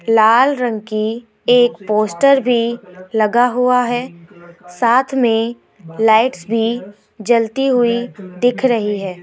लाल रंग की एक पोस्टर भी लगा हुआ है साथ में लाइट्स भी जलती हुई दिख रही है।